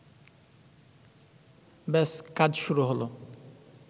ব্যাস কাজ শুরু হলো